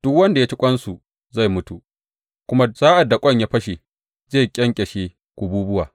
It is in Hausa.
Duk wanda ya ci ƙwansu zai mutu, kuma sa’ad da ƙwan ya fashe, zai ƙyanƙyashe kububuwa.